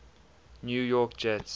new york jets